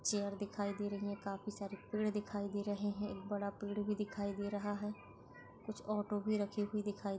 chair दिखाई दे रही है काफी सारे पेड़ दिखाई दे रहे है एक बड़ा पेड़ भी दिखाई दे रहा है कुछ ऑटो भी रखी हुई दिखाई --